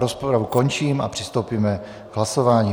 Rozpravu končím a přistoupíme k hlasování.